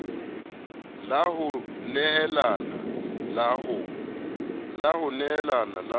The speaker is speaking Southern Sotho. la ho neelana la ho